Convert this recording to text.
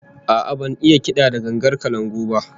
A'a, ban iya kada gangar kalangu ba